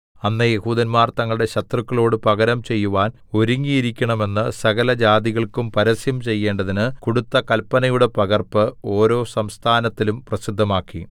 അന്ന് യെഹൂദന്മാർ തങ്ങളുടെ ശത്രുക്കളോടു പകരം ചെയ്യുവാൻ ഒരുങ്ങിയിരിക്കണമെന്നു സകലജാതികൾക്കും പരസ്യം ചെയ്യേണ്ടതിന് കൊടുത്ത കല്പനയുടെ പകർപ്പ് ഓരോ സംസ്ഥാനത്തിലും പ്രസിദ്ധമാക്കി